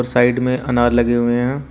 Side में अनार लगे हुए है।